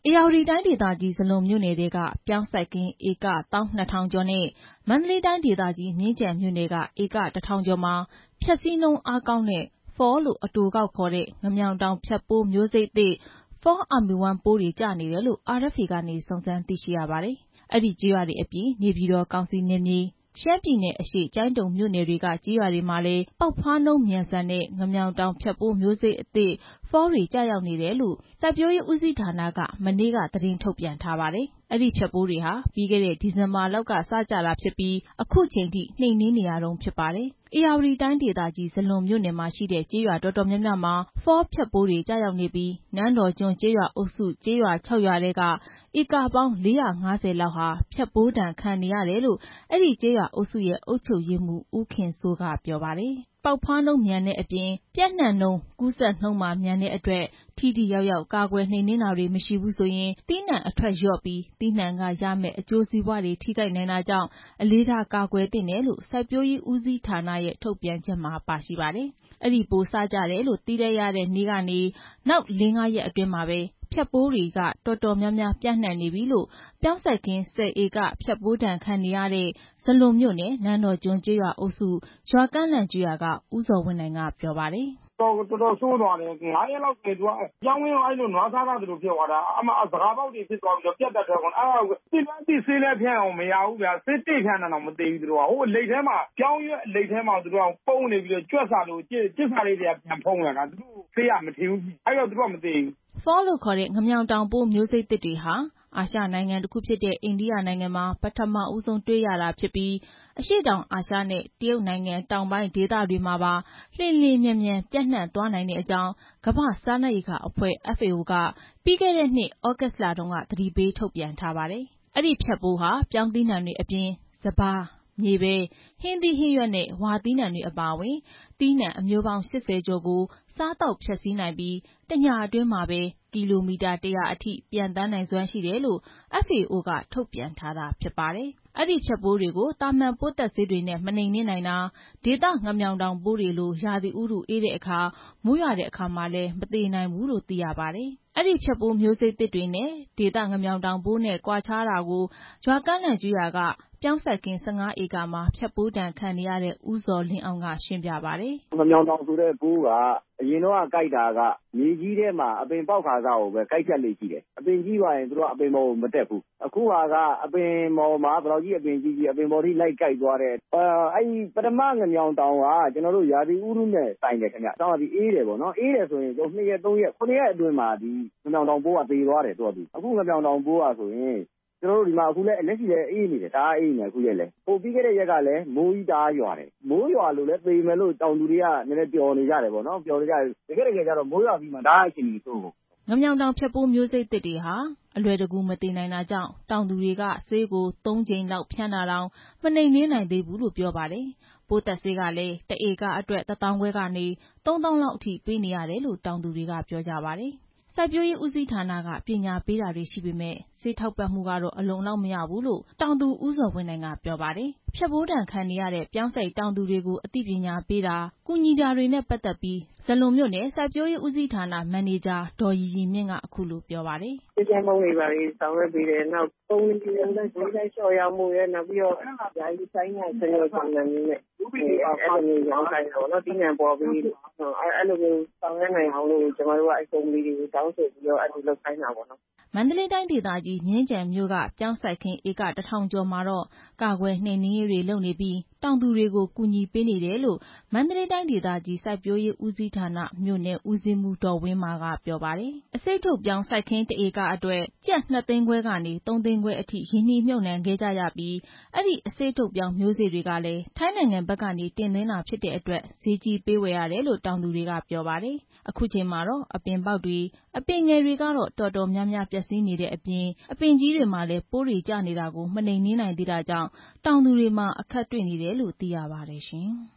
ဧရာဝတီတိုင်းဒေသကြီး ဇလွန်မြို့နယ်ထဲက ပြောင်းစိုက်ဧက ၁၂၀၀၀ ကျော်နဲ့ မန္တလေးတိုင်းဒေသကြီး မြင်းခြံမြို့နယ်က ဧက ၁၀၀၀ ကျော်မှာ ဖျက်စီးနှုန်းအားကောင်းတဲ့ FAW လို့ အတိုကောက်ခေါ်တဲ့ ငမြောင်တောင်ဖျက်ပိုး မျိုးစိတ်အသစ် Fall Army Worm ပိုးတွေကျနေတယ်လို့ RFA က စုံစမ်းသိရပါတယ်။ အဲဒီကျေးရွာတွေအပြင် နေပြည်တော်ကောင်စီနယ်မြေ၊ ရှမ်းပြည်နယ်အရှေ့ ကျိုင်းတုံမြို့နယ်တွေက ကျေးရွာတွေမှာလည်း ပေါက်ဖွားနှုန်းမြန်ဆန်တဲ့ ငမြောင်တောင်ဖျက်ပိုး မျိုးစိတ်သစ် FAW တွေ ကျရောက်နေတယ်လို့ စိုက်ပျိုးရေးဦးစီးဌာနက မနေ့က သတင်းထုတ်ပြန်ထားပါတယ်။ အဲဒီဖျက်ပိုးတွေဟာ ပြီးခဲ့တဲ့ ဒီဇင်ဘာလလောက်က စကျလာတာဖြစ်ပြီး အခုချိန်အထိ နှိမ်နှင်းနေရတုန်းဖြစ်ပါတယ်။ ဧရာဝတီတိုင်းဒေသကြီး ဇလွန်မြို့နယ်မှာရှိတဲ့ ကျေးရွာတော်တော်များများမှာ FAW ဖျက်ပိုးကျရောက်နေပြီး နန်းတော်ကျွန်းကျေးရွာအုပ်စု ကျေးရွာ ၆ ရွာထဲက ဧကပေါင်း ၄၅၀ လောက်ဟာ ဖျက်ပိုးဒဏ် ခံနေရတယ်လို့ အဲဒီကျေးရွာအုပ်စုရဲ့ အုပ်ချုပ်ရေးမှူး ဦးခင်စိုး က ပြောပါတယ်။ အဲ့ဒီမျိုးစိတ်သစ်တွေဟာ ပေါက်ဖွားနှုန်းမြန်တဲ့အပြင် ပျံ့နှံ့နှုန်း၊ ကူးစက်နှုန်းပါ မြန်တဲ့အတွက် ထိထိရောက်ရောက် ကာကွယ်နှိမ်နှင်းတာတွေ မရှိဘူးဆိုရင် သီးနှံအထွက်လျော့ပြီး သီးနှံကရမယ့် အကျိုးစီးပွား ထိခိုက်နိုင်တာကြောင့် အလေးထား ကာကွယ်သင့်တယ်လို့ စိုက်ပျိုးရေးဦးစီးဌာနရဲ့ ထုတ်ပြန်ချက်မှာ ပါရှိပါတယ်။ အဲဒီပိုးစကျတယ်လို့ သိလိုက်ရတဲ့ ရက်ကနေ နောက် ၄၊ ၅ ရက်အတွင်းမှာပဲ ဖျက်ပိုးတွေက တော်တော်များများ ပျံ့နှံ့နေပြီလို့ ပြောင်းစိုက်ခင်း ၁၀ ဧက ဖျက်ပိုးဒဏ်ခံနေရတဲ့ ဇလွန်မြို့နယ် နန်းတော်ကျွန်းကျေးရွာအုပ်စု ရွာကန့်လန့်ကျေးရွာက ဦးဇော်ဝင်းနိုင်က ပြောပါတယ်။ "တော်တော်ဆိုးတယ်။ ၄၊ ၅ ရက်အတွင်းမှာပဲ ပြောင်းခင်းထဲကို နွားစားထားသလို ဖြစ်သွားတာ။ စကာပေါက်တွေဖြစ်သွားပြီး ပြတ်ထွက်ကုန်တာ။ သိလည်းသိ ဆေးဖြန်းတာတောင် မရဘူးဗျာ၊ ဆေးတွေဖြန်းတာတောင် မရဘူး။ ပြောင်းရွက်အလိတ်ထဲမှာ နေပြီး ကြွက်စာလို ကျစ်စာခဲတွေ ဖုံးထားတာ။ အဲ့တော့ ဆေးကမထိဘူး။ အဲ့တော့ မသေဘူး" FAW ငမြာင်တောင်ပိုးတွေဟာ အာရှနိုင်ငံတစ်ခုဖြစ်တဲ့ အိန္ဒိယနိုင်ငံမှာ ပထမဆုံး တွေ့ခဲ့ရတာဖြစ်ပြီး အရှေ့တောင်အာရှနဲ့ တရုတ်နိုင်ငံ တောင်ပိုင်းဒေသတွေမှာပါ လျင်လျင်မြန်မြန် ပျံ့နှံ့သွားနိုင်တဲ့အကြောင်း ကမ္ဘာ့စားနပ်ရိက္ခာအဖွဲ့ FAO ပြီးခဲ့တဲ့ နှစ် သြဂုတ်လတုန်းက သတိပေးထုတ်ပြန်ထားပါတယ်။ အဲဒီဖျက်ပိုးဟာ ပြောင်းသီးနှံတွေအပြင် စပါး၊ မြေပဲ၊ ဟင်းသီးဟင်းရွက်နဲ့ ဝါသီးနံှတွေ အပါအဝင် သီးနှံအမျိုးပေါင်း ၈၀ ကျော်ကို စားသောက်ဖျက်ဆီးနိုင်ပြီး တစ်ညအတွင်း ကီလိုမီတာ ၁၀၀ အထိ ပျံ့သန်းနိုင်စွမ်းရှိတယ်လို့လည်း FAO က ထုတ်ပြန်ထားတာဖြစ်ပါတယ်။ အဲဒီ FAW ဖျက်ပိုးတွေဟာ သာမာန် ပိုးသတ်ဆေးတွေနဲ့ မနှိမ်နှင်းနိုင်တာ၊ ဒေသ ငမြောင်တောင်ပိုးတွေလို ရာသီဥတုအေးတဲ့အခါ၊ မိုးရွာတဲ့အခါမှာ မသေနိုင်ဘူးလို့ သိရပါတယ်။ အဲဒီ FAW ဖျက်ပိုးတွေဟာ ဒေသ ငမြောင်တောင်ပိုးနဲ့ ကွာခြားတာတွေကို ရွာကန့်လန့်ကျေးရွာက ပြောင်းစိုက်ခင်း ၁၅ ဧကမှာ ဖျက်ပိုးဒဏ်ခံနေရတဲ့ ဦးဇော်လင်းအောင်က ရှင်းပြပါတယ်။ "ငမြောင်တောင်ဆိုတာက အရင်က ကိုက်ဖြတ်တာက မြေကြီးထဲကနေပြီး အပင်ပေါက်ကာစကိုပဲ ကိုက်ဖြတ်လေ့ရှိတယ်။ အပင်ကြီးသွားရင် အပင်ပေါ်ကို မတက်ဘူး။ အခုက အပင်ဘယ်လောက်ကြီးကြီး အပင်ပေါ်တက်ကိုက်တယ်။ ပထမ ငမြောင်တောင်က ရာသီဥတုနဲ့ ဆိုင်တယ်။ အေးတယ်ဆိုရင် ၂ ရက် ၃ ရက် ၇ ရက်အတွင်းမှာ ငမြောင်တောင်ပိုးက သူ့ဘာသာသူ သေသွားတယ်။ အခု ငမြောင်တောင်ပိုးဟာဆိုရင် အခုလက်ရှိလည်း အေးနေတယ်။ ပြီးခဲ့တဲ့ ရက်ကလည်း မိုးကြီးတအားရွာတယ်။ မိုးရွာတော့ သေမယ်လို့ တောင်သူတွေက ပျော်နေကြတယ်ပေါ့နော်။ တကယ့်တကယ်ကျတော့ မိုးရွာပြီး တအား အခြေအနေဆိုးသွားတယ်" အဲဒီ FAW ဖျက်ပိုးတွေဟာ အလွယ်တကူ မသေနိုင်တာကြောင့် တောင်သူတွေက ဆေးကို ၃ ကြိမ်လောက် ဖြန်းတာတောင် မနှိမ်နှင်းနိုင်သေးဘူးလို့ ပြောပါတယ်။ ပိုးသတ်ဆေးကလည်း ၁ ဧကအတွက် ၁ သောင်းခွဲကနေ ၃ သောင်းလောက်အထိ ပေးနေရတယ်လို့လည်း တောင်သူတွေက ပြောပါတယ်။ စိုက်ပျိုးရေး ဦးစီးဌာနက ပညာပေးတာတွေရှိပေမယ့် ဆေးထောက်ပံ့မှုကတော့ အလုံလောက် မရဘူးလို့ တောင်သူ ဦးဇော်ဝင်းနိုင်က ပြောပါတယ်။ ဖျက်ပိုးဒဏ်ခံနေရတဲ့ ပြောင်းစိုက်တောင်သူတွေကို အသိပညာပေးတာ၊ ကူညီနေတာတွေနဲ့ ပတ်သက်ပြီး ဇလွန်မြို့နယ် စိုက်ပျိုးရေးဦးစီးဌာန မန်နေဂျာ ဒေါ်ရီရီမြင့်က အခုလိုပြောပါတယ်။ "ဆေးဖြန်းပုံးတွေဘာတွေ ဆောင်ရွက်ပေးတယ်။ နောက် ကုမ္ပဏီတွေကို ဈေးလျော့ရောင်းပေးဖို့ရယ်၊ နောက်တော့ ဆိုင်းငံ့သဘောနဲ့ ရောင်းခိုင်းတာပေါ့နော်။ သီးနှံပေါ်ပြီး ဆောင်ရွက်နိုင်အောင် ကုမ္ပဏီတွေကို တောင်းဆိုထားတာပေါ့" မန္တလေးတိုင်းဒေသကြီး မြင်းခြံမြို့က ပြောင်းစိုက်ခင်းဧက ၁၀၀၀ ကျော်မှာတော့ ကာကွယ်နှိမ်နှင်းရေးတွေ လုပ်နေပြီး တောင်သူတွေကို ကူညီတာပေးနေတယ်လို့ မန္တလေးတိုင်းဒေသကြီး စိုက်ပျိုးရေးဦးစီးဌာန မြို့နယ်ဦးစီးမှူး ဒေါ်ဝင်းမာက ပြောပါတယ်။ အခု ဖျက်ပိုးကျနေတဲ့ အစေ့ထုတ်ပြောင်း စိုက်ခင်း ၁ ဧကအတွက် ကျပ် ၂ သိန်းခွဲကနေ ၃ သိန်းခွဲအထိ ရင်းနှီးမြှုပ်နှံခဲ့ကြရပြီး အဲ့ဒီ အစေ့ထုတ်ပြောင်း မျိုးစေ့တွေကလည်း ထိုင်းနိုင်ငံဘက်ကနေ တင်သွင်းတာဖြစ်တဲ့အတွက် ဈေးကြီးပေးဝယ်ရတယ်လို့ တောင်သူတွေက ပြောကြပါတယ်။ အခုအချိန်မှာတော့ အပင်ပေါက်တွေ၊ အပင်ငယ်တွေကတော့ တော်တော်များများ ပျက်စီးတဲ့အပြင် အပင်ကြီးတွေမှာလည်း ပိုးကျနေတာတွေကို မနှိမ်နှင်းနိုင်သေးတာကြောင့် တောင်သူတွေမှာ အခက်တွေ့နေတယ်လို့လည်း သိရပါတယ်ရှင်။